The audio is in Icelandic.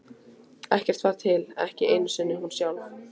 Ekkert var til, ekki einu sinni hún sjálf.